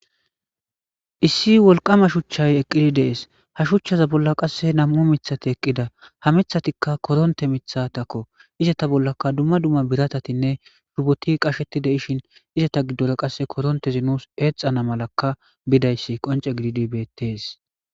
issi wolqama shuchchay eqqidi dees ha shuchchaza bolla qasse nam7u mithati eqqida ha mithatikka koronte mitha takko izata bollaka dumma dumma biratatinne shuboti qasheti de7ishin izata giddora qasse korontezi nuus eexana malakka bidayssi qonce gididi bettes